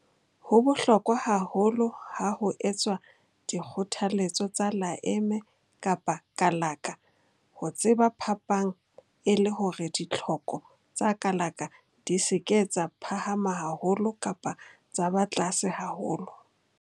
Ho bohlokwa haholo ha ho etswa dikgothaletso tsa laeme-kalaka ho tseba phapang e le hore ditlhoko tsa kalaka di se ke tsa phahama haholo kapa tsa ba tlase haholo.